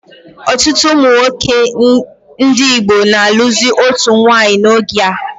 Ọtụtụ ụmụnwoke ndị Igbo na alụzi otu nwanyị n'oge a